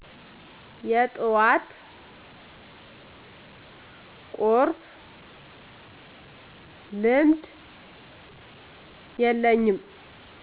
የጡዋት ቁርስ ልምድ የለኝም